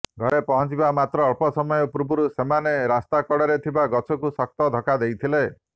ଘରେ ପହଞ୍ଚିବାର ଅଳ୍ପ ସମୟ ପୂର୍ବରୁ ସେମାନେ ରାସ୍ତା କଡ଼ରେ ଥିବା ଗଛକୁ ଶକ୍ତ ଧକ୍କା ଦେଇଥିଲେ